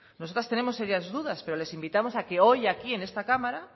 nosotras tenemos serias dudas pero les invitamos a que hoy aquí en esta cámara